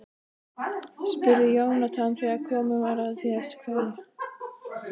spurði Jónatan þegar komið var að því að kveðja.